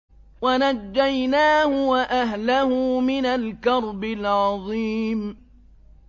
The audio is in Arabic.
وَنَجَّيْنَاهُ وَأَهْلَهُ مِنَ الْكَرْبِ الْعَظِيمِ